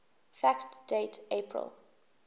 fact date april